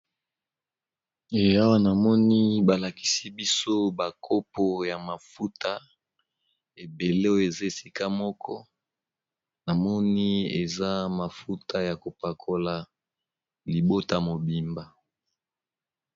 Eyawa namoni balakisi biso ba kopo ya mafuta ebele oyo eza esika moko namoni eza mafuta yako pakola libota mobimba.